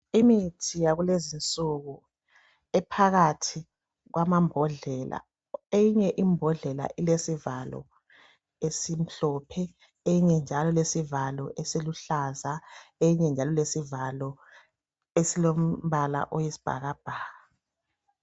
Imithi yakulezinsuku iphakathi kwamabhodlela eyinye imbodlela ilesivalo esimhlophe enye njalo ilesivalo esiluhlaza enye njalo ilesivalo esilombala oyisibhakabhaka